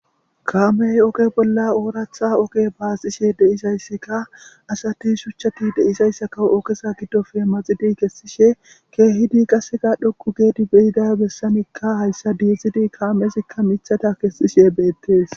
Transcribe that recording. kaamey oge bolla ooratha oke baasishe deisayssika asati shuchchati deisayssaka okesa giddofe maxidi kessishe keehidi qasseka dhoku geedi beyida bessanikka hayssa dizidi kaamezikka michata kessishe beettes